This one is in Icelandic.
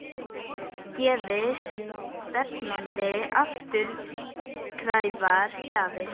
Gefi stefnandi afturkræfar gjafir?